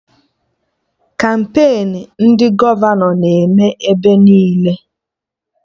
Kampain ndị gọvanọ na-eme ebe niile